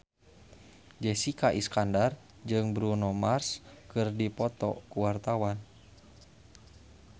Jessica Iskandar jeung Bruno Mars keur dipoto ku wartawan